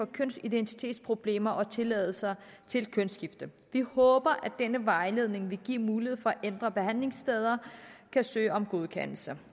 kønsidentitetsproblemer og tilladelser til kønsskifte vi håber at denne vejledning vil give mulighed for at andre behandlingssteder kan søge om godkendelse